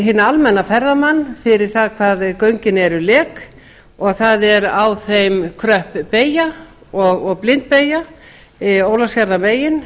hinn almenna ferðamann fyrir það hvað göngin eru lek og það er á þeim kröpp beygja og blindbeygja ólafsfjarðarmegin